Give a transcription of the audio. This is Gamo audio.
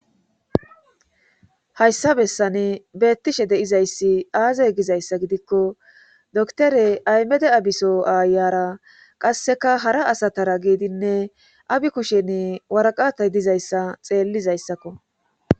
hayssa bessane beettishe de'izayssi aazay gizayssa gidikko doktore aymede abiso aayara qasseka hara asatara giidinne abi kushen waraqatay dizayssa xeellizayssakko